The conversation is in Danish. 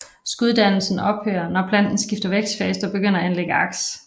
Skuddannelsen ophører når planten skifter vækstfase og begynder at anlægge aks